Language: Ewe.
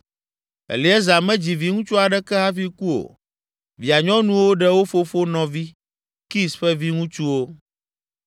Eleazar medzi viŋutsu aɖeke hafi ku o, via nyɔnuwo ɖe wo fofo nɔvi, Kis ƒe viŋutsuwo.